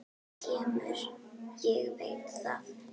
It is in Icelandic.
Þú kemur, ég veit það.